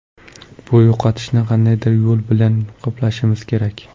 Bu yo‘qotishni qandaydir yo‘l bilan qoplashimiz kerak.